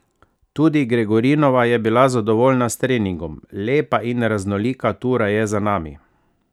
Tudi Gregorinova je bila zadovoljna s treningom: "Lepa in raznolika tura je za nami.